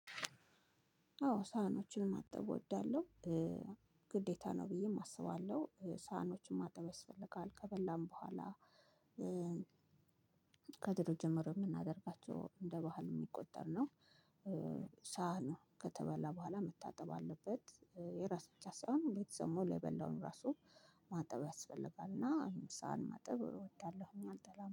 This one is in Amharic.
አዎ ሰሐኞችን ማጠብ አወዳለሁ። ግዴታ ነው ብዬም አስባለሁ ሳህኖችን ማጠብ ያስፈልጋል ከበላን በኋላ። ከድሮ ጀምሮ የምናደርጋቸው እንደ ባህል የሚቆጠር ነው። ሳህኑ ከተበላ በኋላ መታጠብ አለበት የራስ ብቻ ሳይሆን ቤተሰብ ሙሉ የበላውን ራሱ ማጠብ ያስፈልጋል እና ሰሃን ማጠብ እወዳለሁኝ አልጠላም